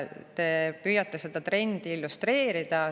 Te püüate seda trendi illustreerida.